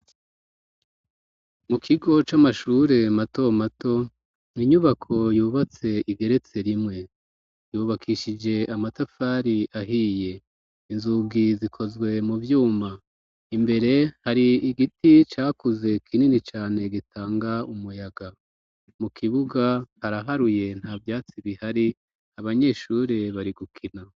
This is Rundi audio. Mu kigo c'amashure mato mato inyubako yubatse igeretse rimwe, yubakishije amatafari ahiye inzugi zikozwe mu byuma imbere hari igiti cakuze kinini cane gitanga umuyaga mu kibuga haraharuye nta byatsi bihari abanyeshure bari gukina.